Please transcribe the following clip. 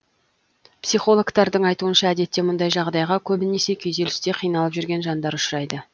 психологтардың айтуынша әдетте мұндай жағдайға көбінесе күйзелісте қиналып жүрген жандар ұшырайды